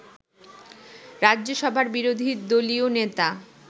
রাজ্যসভার বিরোধীদলীয় নেতা